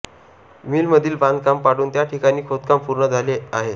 मिलमधील बांधकाम पाडून त्या ठिकाणी खोदकाम पूर्ण झाले आहे